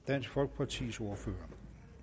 dansk folkepartis ordfører